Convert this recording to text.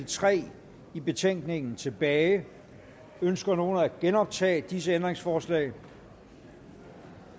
tre i betænkningen tilbage ønsker nogen at genoptage disse ændringsforslag